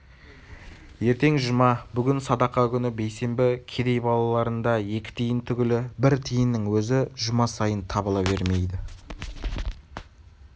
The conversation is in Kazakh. ертең жұма бүгін садақа күні бейсенбі кедей балаларында екі тиын түгіл бір тиынның өзі жұма сайын табыла бермейді